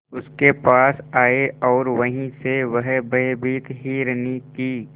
उसके पास आए और वहीं से वह भयभीत हिरनी की